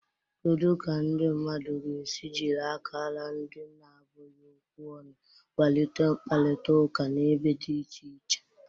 Kedu ka ndị mmadụ ga-esi jiri akara ndị na-abụghị okwu ọnụ kwalite mkparịta ụka n'ebe dị iche iche?